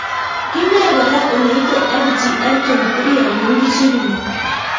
Kinae kora ole ite FGF23 amu kichigili